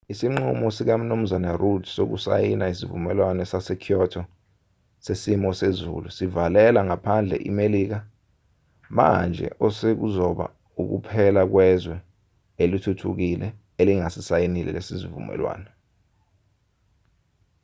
isinqumo sikamnu rudd sokusayina isivumelwano sase-kyoto sesimo sezulu sivalela ngaphandle imelika manje osekuzoba ukuphela kwezwe elithuthukile elingasisayinile lesi sivumelwano